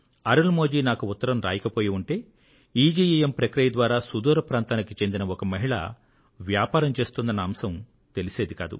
అరుళ్ మొళి నాకు ఉత్తరం రాయకపోయి ఉంటే ఈజీఇఎమ్ ప్రక్రియ ద్వారా సుదూర ప్రాంతానికి చెందిన ఒక మహిళ వ్యాపారం చేస్తున్న అంశం తెలిసేది కాదు